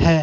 हैं।